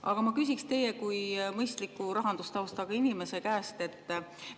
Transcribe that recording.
Aga ma küsiksin teie kui mõistliku rahandustaustaga inimese käest seda.